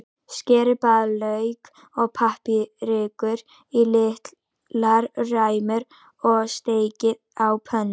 Skerið blaðlauk og paprikur í litlar ræmur og steikið á pönnu.